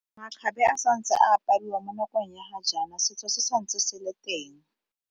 Makgabe a santse a apariwa mo nakong ya ga jaana setso se sa ntse se le teng.